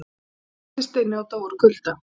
Læstist inni og dó úr kulda